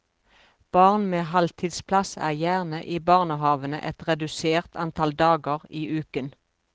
Barn med halvtidsplass er gjerne i barnehavene et redusert antall dager i uken.